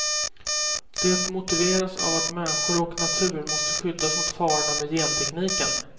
Det motiveras av att människor och natur måste skyddas mot farorna med gentekniken.